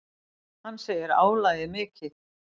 Hann segir álagið mikið.